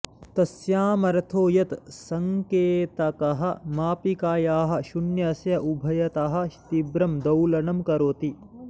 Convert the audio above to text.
तस्यामर्थो यत् सङ्केतकः मापिकायाः शुन्यस्य उभयतः तीव्रं दौलनं करोति